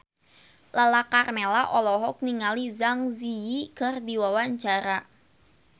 Lala Karmela olohok ningali Zang Zi Yi keur diwawancara